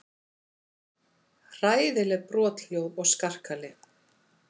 Hræðileg brothljóð og skarkali.